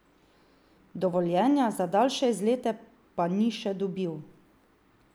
Dovoljenja za daljše izlete pa ni še dobil.